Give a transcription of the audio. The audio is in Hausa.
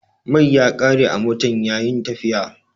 Mai ya kare a motan yayi'n tafiya.